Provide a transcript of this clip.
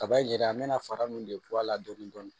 Kaba yira an me na fara min de bɔ a la dɔɔni dɔɔni